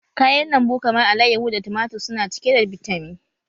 Kayan lambu kamar alayyahu da tumatir su na cike da bitamin